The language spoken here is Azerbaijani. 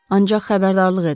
Ancaq xəbərdarlıq edirəm.